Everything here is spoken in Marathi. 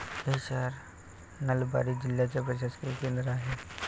हे शहर नलबारी जिल्ह्याचे प्रशासकीय केंद्र आहे.